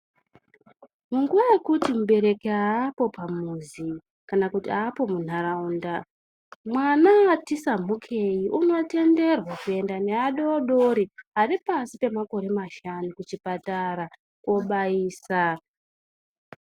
Munguwa yekuti mubereki aapo pamuzi kana kuti aapo muntaraunda mwana wati sambukei unotenderwa kuenda neadodori ari pasi pemakore mashanu kuchipatara kobaisa.